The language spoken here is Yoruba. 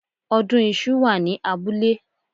Ọdún iṣu wà ní abúlé